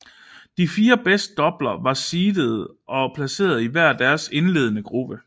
De fire bedst doubler var seedede og var placeret i hver deres indledende gruppe